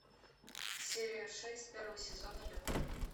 серия шесть первого сезона лютер